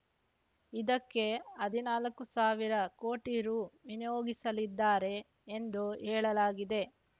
ಇದಕ್ಕೆ ಹದಿನಾಲ್ಕು ಸಾವಿರ ಕೋಟಿ ರು ವಿನಿಯೋಗಿಸಲಿದ್ದಾರೆ ಎಂದು ಹೇಳಲಾಗಿದೆ